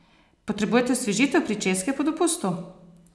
Potrebujete osvežitev pričeske po dopustu?